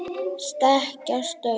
stekkjarstaur